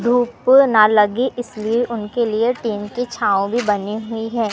धूप ना लगी इसलिए उनके लिए टीन की छांव भी बनी हुईं हैं।